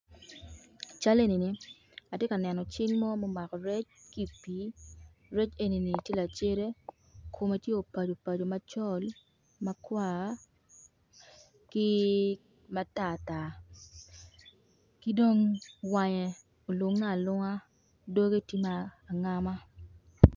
Cal enini atye ka neno cing mo ma omako rec ki pii, rec eni-ni tye lacede kome tye opaco opaco macol makwar ki matar tar ki dong wange olunge alunga doge tye ma angama.